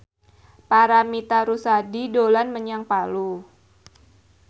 Paramitha Rusady dolan menyang Palu